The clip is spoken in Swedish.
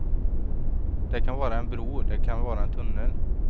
Det kan vara en bro, det kan vara en tunnel.